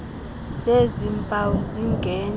zezi mpawu zingentla